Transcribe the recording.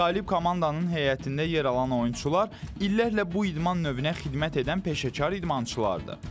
Qalib komandanın heyətində yer alan oyunçular illərlə bu idman növünə xidmət edən peşəkar idmançılardır.